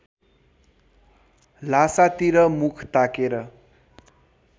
ल्हासातिर मुख ताकेर